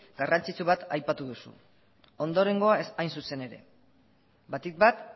garrantzitsu bat aipatu duzu ondorengoa hain zuzen ere batik bat